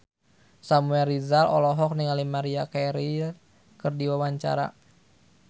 Samuel Rizal olohok ningali Maria Carey keur diwawancara